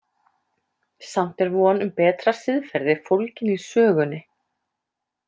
Samt er von um betra siðferði fólgin í sögunni.